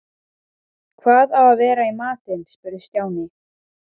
Hvað á að vera í matinn? spurði Stjáni.